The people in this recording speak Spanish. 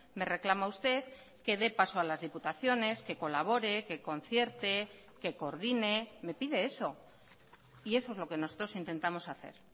me reclama usted que dé paso a las diputaciones que colabore que concierte que coordine me pide eso y eso es lo que nosotros intentamos hacer